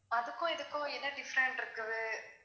அதுக்கும் இதுக்கும் என்ன different இருக்குது?